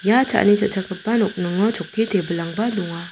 ia cha·ani cha·chakgipa nokningo chokki tebilangba donga.